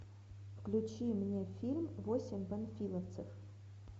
включи мне фильм восемь панфиловцев